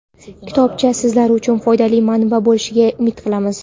Kitobcha sizlar uchun foydali manba bo‘lishiga umid qilamiz.